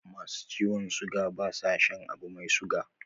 Masu ciwon suga ba sa shan abu mai suga